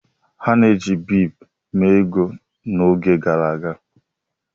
A na-eji bead mee ego n'oge gara aga.